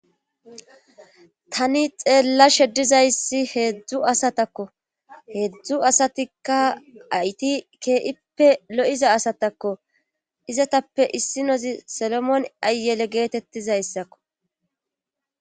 tani xeella sheddizayssi heedzdzu asatakko heedzdzu asatikka ayti kee7ippe lo7iza asatakko izatappe issi nozi solomoon ayele geetettizayssakko